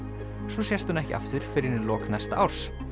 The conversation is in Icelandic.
svo sést hún ekki aftur fyrr en í lok næsta árs